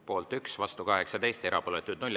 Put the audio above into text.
Poolt 1, vastu 18, erapooletuid 0.